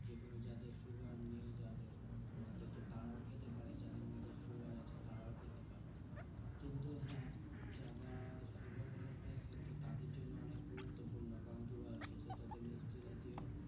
যেগুলো যাদের sugar নেই যাদের মধ্যে তো তারাও খেতে পারে যাদের মধ্যে sugar আছে তারাও খেতে পারে। কিন্তু হ্যাঁ যারা sugar এর patient তো তাদের জন্য অনেক গুরুত্বপূর্ণ। কারণ কি বলতো? সেটাতে মিষ্টি জাতীয়